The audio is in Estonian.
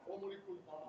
Loomulikult ma ...